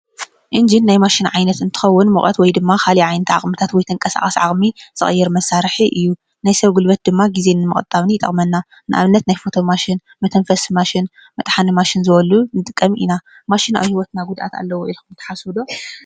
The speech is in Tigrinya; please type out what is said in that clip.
ኢንጅን ናይ ማሽን ዓይነት እንትከዉን ሙቀት ወይ ድማ ኻሊእ ዓይነት ኣቁሑታት ወይ ተንቀሳቃሲ ዓቅሚ ዝቅይር መሳርሒ እዩ ፤ናይ ሰብ ጉልበት ድማ ግዘ ንምቁጣብ ይጠቅመና ።ንኣብነት ናይ ፈቶ ማሽን፣ መተንፈሲ ማሽን ፣መጥሓኒ ማሽን ዝበሉ ንጥቀም ኢና። ማሽን ኣብ ሂወትና ጉድኣት ኣለዎ ኢልኩም ትሓስቡ ዶ ?